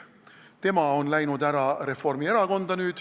Tema on läinud nüüd Reformierakonda.